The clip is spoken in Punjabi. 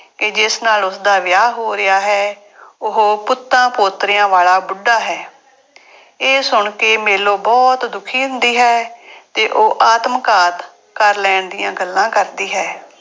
ਕਿ ਜਿਸ ਨਾਲ ਉਸਦਾ ਵਿਆਹ ਹੋ ਰਿਹਾ ਹੈ, ਉਹ ਪੁੱਤਾਂ ਪੋਤਰਿਆਂ ਵਾਲਾ ਬੁੱਢਾ ਹੈ। ਇਹ ਸੁਣ ਕੇ ਮੇਲੋ ਬਹੁਤ ਦੁਖੀ ਹੁੰਦੀ ਹੈ ਤੇ ਉਹ ਆਤਮਘਾਤ ਕਰ ਲੈਣ ਦੀਆਂ ਗੱਲਾਂ ਕਰਦੀ ਹੈ।